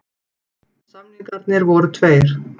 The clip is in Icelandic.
Samningarnir voru tveir